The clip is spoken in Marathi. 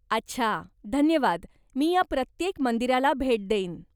अच्छा, धन्यवाद, मी या प्रत्येक मंदिराला भेट देईन.